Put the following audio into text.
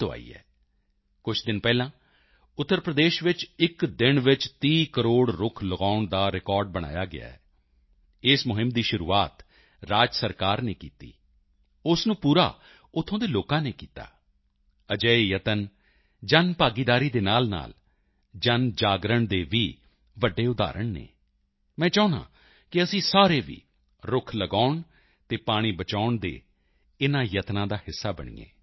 ਤੋਂ ਆਈ ਹੈ ਕੁਝ ਦਿਨ ਪਹਿਲਾਂ ਉੱਤਰ ਪ੍ਰਦੇਸ਼ ਵਿੱਚ ਇੱਕ ਦਿਨ ਚ 30 ਕਰੋੜ ਰੁੱਖ ਲਗਾਉਣ ਦਾ ਰਿਕਾਰਡ ਬਣਾਇਆ ਗਿਆ ਹੈ ਇਸ ਮੁਹਿੰਮ ਦੀ ਸ਼ੁਰੂਆਤ ਰਾਜ ਸਰਕਾਰ ਨੇ ਕੀਤੀ ਉਸ ਨੂੰ ਪੂਰਾ ਉੱਥੋਂ ਦੇ ਲੋਕਾਂ ਨੇ ਕੀਤਾ ਅਜਿਹੇ ਯਤਨ ਜਨਭਾਗੀਦਾਰੀ ਦੇ ਨਾਲਨਾਲ ਜਨਜਾਗਰਣ ਦੇ ਵੀ ਵੱਡੇ ਉਦਾਹਰਣ ਹਨ ਮੈਂ ਚਾਹੁੰਦਾ ਹਾਂ ਕਿ ਅਸੀਂ ਸਾਰੇ ਵੀ ਰੁੱਖ ਲਗਾਉਣ ਅਤੇ ਪਾਣੀ ਬਚਾਉਣ ਦੇ ਇਨ੍ਹਾਂ ਯਤਨਾਂ ਦਾ ਹਿੱਸਾ ਬਣੀਏ